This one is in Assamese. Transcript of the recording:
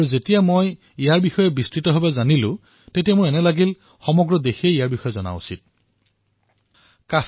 এই বিষয়ে যেতিয়া মই বিস্তাৰিত ৰূপত গম পালো তেতিয়া মই ভাবিলো যে ইয়াৰ বিষয়ে সমগ্ৰ দেশে জনাটো আৱশ্যক